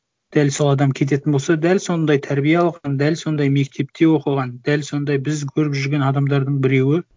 дәл сол адам кететін болса дәл сондай тәрбие алған дәл сондай мектепте оқыған дәл сондай біз көріп жүрген адамдардың біреуі